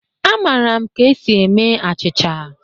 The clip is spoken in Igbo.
Amara m ka esi eme achịcha